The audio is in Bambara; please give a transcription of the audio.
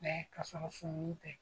ka sɔrɔ sumuni tɛ.